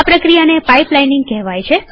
આ પ્રક્રિયાને પાઈપલાઈનીંગ કહેવાય છે